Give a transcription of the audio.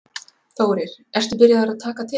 Þórir: Ertu byrjaður að taka til?